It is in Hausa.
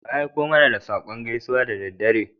Wa ya aiko mana da saƙon gaisuwa da daddare?